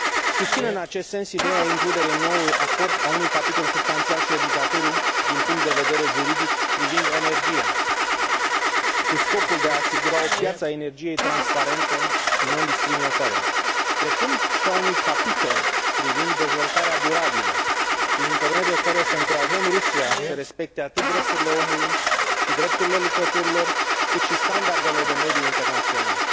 Susțin în acest sens ideea includerii în noul acord a unui capitol substanțial și obligatoriu din punct de vedere juridic privind energia, cu scopul de a asigura o piață a energiei transparentă și nediscriminatorie, precum și a unui capitol privind dezvoltarea durabilă, prin intermediul căruia să încurajăm Rusia să respecte atât drepturile omului și drepturile lucrătorilor, cât și standardele de mediu internaționale.